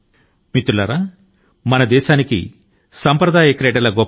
మిత్రులారా మన దేశం లో గొప్ప వారసత్వ సాంప్రదాయక క్రీడ లు ఉన్నాయి